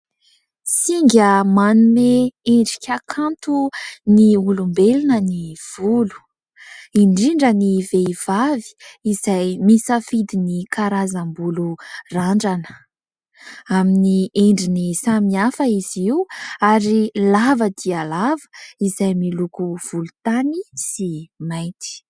Singa manome endrika kanto ny olombelona ny volo ; indrindra ny vehivavy izay misafidy ny karazam-bolo randrana amin'ny endriny samy hafa izy io ary lava dia lava izay miloko volontany sy mainty.